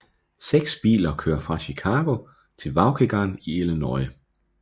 Seks biler kører fra Chicago til Waukegan i Illinois